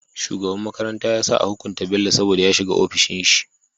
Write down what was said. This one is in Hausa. Shugaban makaranta yasa a hukunta bello saboda ya shiga ofishin shi